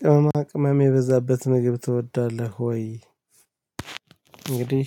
ቅመማ ቅመም የበዛበት ምግብ ትወዳለህ ወይ? እንግዲህ